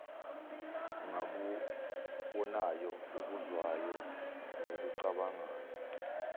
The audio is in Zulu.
ngakubonayo akuzwayo nakucabangayo